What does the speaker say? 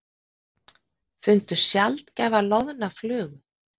Fundu sjaldgæfa loðna flugu